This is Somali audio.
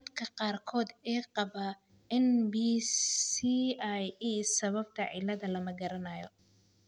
Dadka qaarkood ee qaba NBCIE, sababta cilladda lama garanayo.